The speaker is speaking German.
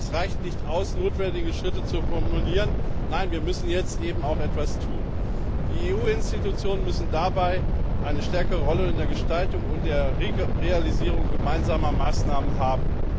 Es reicht nicht aus, notwendige Schritte zu formulieren nein, wir müssen jetzt auch etwas tun. Die EU Institutionen müssen eine stärkere Rolle bei der Gestaltung und Realisierung gemeinsamer Maßnahmen haben.